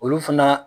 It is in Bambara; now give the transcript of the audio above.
Olu fana